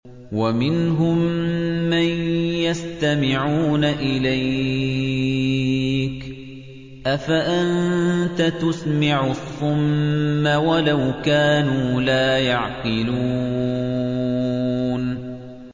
وَمِنْهُم مَّن يَسْتَمِعُونَ إِلَيْكَ ۚ أَفَأَنتَ تُسْمِعُ الصُّمَّ وَلَوْ كَانُوا لَا يَعْقِلُونَ